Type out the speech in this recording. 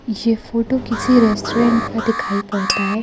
ये फोटो किसी रेस्टोरेंट का दिखाई पड़ता है।